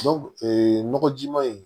nɔgɔjima in